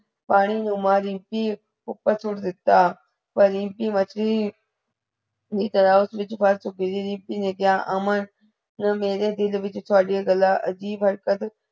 ਪਾਣੀ ਨੁੰ ਮਾਰ ਰੀਮਪੀ ਉਪਰ ਸੁੱਟ ਦਿਤਾ ਪਰ ਰੀਮਪੀ ਮੱਛਲੀ ਦੀ ਤਰਾਂ ਉਸ ਵਿਚ ਫਸ ਚੁਕੀ ਸੀ। ਰੀਮਪੀ ਨੇ ਕੀਆ ਅਮਨ ਨ ਮੇਰੇ ਦਿਲ ਵਿਚ ਡਾਵਾਦੀਆਂ ਗਲਾ ਅਜੀਬ ਹਰਕਤ